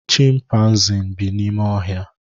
Chịmpaizịn bi n'ime oké ohia